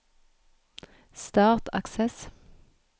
start Access